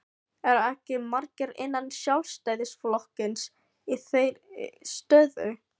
Eru ekki margir innan Sjálfstæðisflokksins í þeirri stöðu?